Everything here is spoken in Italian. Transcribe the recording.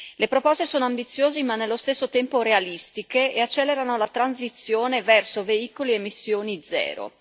Le proposte sono ambiziose ma nello stesso tempo realistiche e accelerano la transizione verso veicoli a emissioni zero.